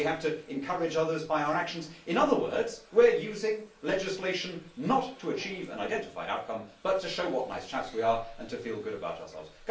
They have to encourage others by their actions. In other words they are using legislation not to achieve an identified outcome but to show what nice chaps we are and to feel good about themselves.